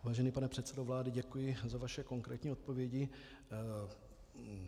Vážený pane předsedo vlády, děkuji za vaše konkrétní odpovědi.